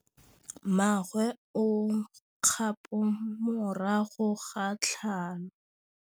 Mmagwe o kgapô morago ga tlhalô.